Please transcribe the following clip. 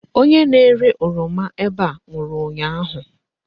Onye na-ere oroma ebe a nwụrụ ụnyaahụ.